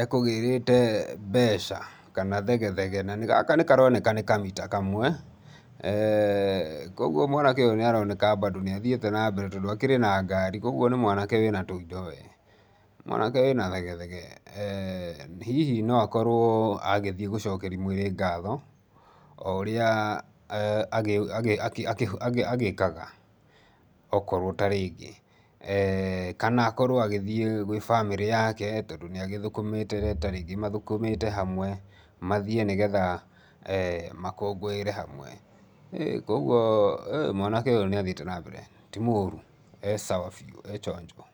ekũgĩrĩte mbeca kana thege thege. Gaka nĩ karoneka nĩ kamita kamwe, eee kwoguo mwanake ũyũ nĩ aroneka nĩ athíiĩte na mbere tondũ akĩrĩ na ngari, kwoguo nĩ mwanake wĩ na tũindo wee, mwanake wĩ na thegethege. Hihi no akorwo agĩthiĩ gũcocekeria mwĩrĩ ngatho o ũrĩa agĩkaga okorwo tarĩngĩ, kana akorwo agĩthiĩ gwĩ bamĩrĩ yake tondũ nĩ athũkũmĩte nata rĩngĩ mathũkũmĩte hamwe mathiĩ nĩ getha makũngũĩre hamwe. Kwoguo mwanake ũyũ nĩ athiĩte na mbere mũno, ti mũru, ee sawa biũ ee chonjo.